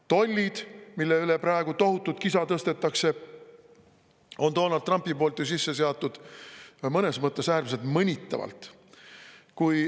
Tollid, mille üle praegu tohutut kisa tõstetakse, on Donald Trump ju sisse seadnud mõnes mõttes äärmiselt mõnitavalt.